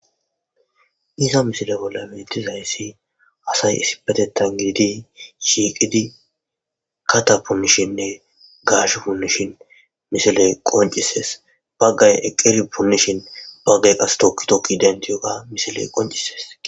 Iza misile bolla metizayssi asay isipetettan gididi shiiqidi kata punishinne gash punnishin misiley qoncisees baggay eqqeri punishin baggay qastokkitokki denti yoga misiley qoncises.